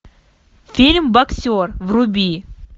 фильм боксер вруби